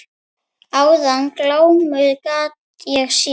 Áðan glámu gat ég séð.